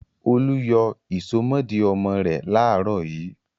Olú yọ ìsomọ́ọ̀dí ọmọ rẹ̀ láàárọ̀ yìí.